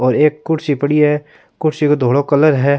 और एक कुर्सी पड़ी है कुर्सी को धोलो कलर है।